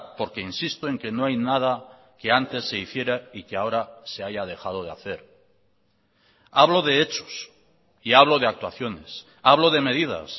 porque insisto en que no hay nada que antes se hiciera y que ahora se haya dejado de hacer hablo de hechos y hablo de actuaciones hablo de medidas